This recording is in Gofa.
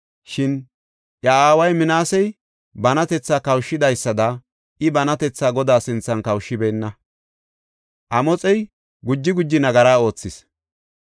Shin iya aaway Minaasey banatetha kawushidaysada I banatetha Godaa sinthan kawushibeenna; Amoxey guji guji nagara oothis.